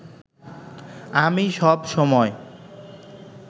আমি সব সময়